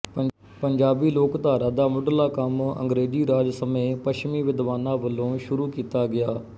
ਪੰਜਾਬੀ ਲੋਕਧਾਰਾ ਦਾ ਮੁੱਢਲਾ ਕੰਮ ਅੰਗਰੇਜ਼ੀ ਰਾਜ ਸਮੇਂ ਪੱਛਮੀ ਵਿਦਵਾਨਾਂ ਵਲੋਂ ਸ਼ੁਰੂ ਕੀਤਾ ਗਿਆ